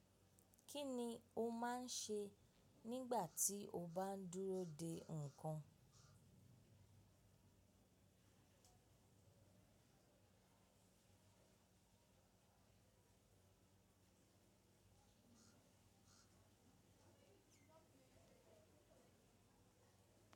Kí ni o máa ń ṣe nígbà tí o bá ń dúró de ǹkan?